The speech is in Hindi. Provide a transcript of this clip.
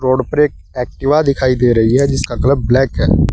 रोड पर एक एक्टिवा दिखाई दे रही है जिसका कलर ब्लैक है।